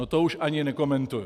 No to už ani nekomentuji!